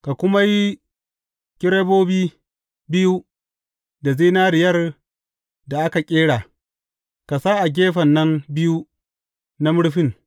Ka kuma yi kerubobi biyu da zinariyar da aka ƙera, ka sa a gefen nan biyu na murfin.